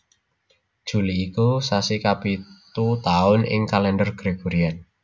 Juli iku sasi kapitu taun ing Kalendher Gregorian